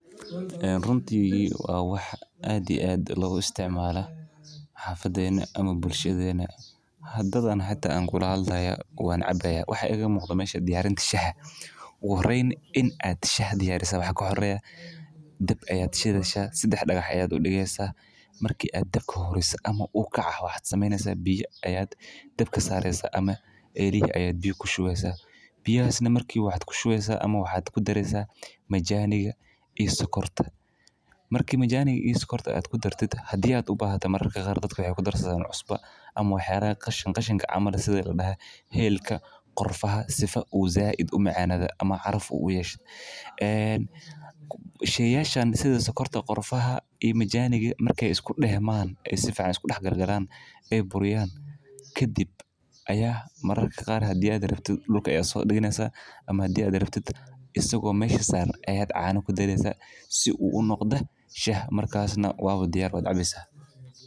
Runtii waa wax aad iyo aad loga isticmalo xafadena ama bulshadena, hadathan hadaa aan kula hadlayo wan cabi hayaa, waxaa iga muqdo halkan diyarinta shaha, ugu horeyn ina diyariso shaha waxaa kahooreya, daab aya shideysaa, digaxya aya udigeysaa, marki aad dabka huriso ama u kor ukacaa waxaa sameyneysaa ,biyaa aya dabka sareysaa ama elihi ayaa biya kushuweysaa, biyahasna waxaad kushuweysa ama kudareysaa majaniga iyo sokrtaa, marki majaniga iyo sokorta aad kudartid hadii aad ubahato mararka qar dadka wexey kudarsadhan cuusba ama wax yalahaa qashin qashinka ah camal sithii helka, qorfaha sifa said umacanado ama caraf uyeshoeeb, ee sheyashan sithii sokorta ama qorfaha iyo majaniga, marki ee iskudeman ee sifican isku dax galgalan, ee buriyaan kadiib aya mararka qar hadi arabto dulka aya sodigeysaa, ama hadii aa rabtiid isago mesha saran aya cana kdareysaa, si u unoqdo Shaah, markasna waba diyar waa cabeysaa.